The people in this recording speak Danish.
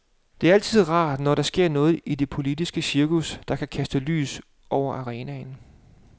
Det er altid rart, når der sker noget i det politiske cirkus, der kan kaste nyt lys over arenaen.